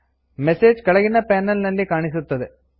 message ಕೆಳಗಿನ panel ನಲ್ಲಿ ಕಾಣಿಸುತ್ತದೆ